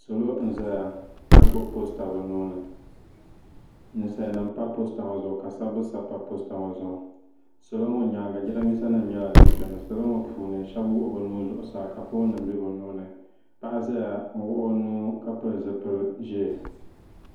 salo n ʒɛya ka gbubi poosta bi nuuni ninsal nim n pa posta ŋɔ zuɣu ka sabbu sabi pa posta ŋɔ zuɣu salɔ ŋɔ nyaanga jiranbiisa nim nyɛla din biɛni salo ŋɔ puuni shab wuɣi bi nuhi zuɣusaa ka foon nim bɛ bi nuuni paɣa ʒɛya n wuɣi o nuu ka pili zipili ʒiɛ